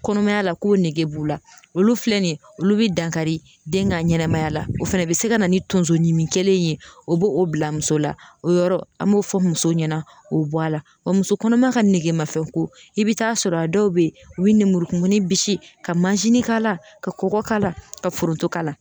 Kɔnɔmaya la ko nege b'u la olu filɛ nin ye olu bi dankari den ka ɲɛnɛmaya la o fɛnɛ be se ka na ni tonso ɲimi kelen in ye o b'o bila muso la o yɔrɔ an b'o fɔ musow ɲɛna o bɔla, wa muso kɔnɔma ka nege mafɛn ko i bɛ taa sɔrɔ a dɔw bɛ yen u bɛ nɛmurukumunin bisi ka mansin kala ka kɔkɔ k'a la ka foronto k'a la.